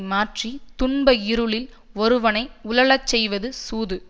மாற்றி துன்ப இருளில் ஒருவனை உழலச் செய்வது சூது